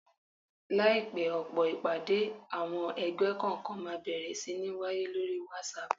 Láìpẹ́, ọ̀pọ̀ ìpàdé àwọn ẹgbẹ́ kọ̀ọ̀kan máa bẹ̀rẹ̀ sí ní wáyé lóri whatsapp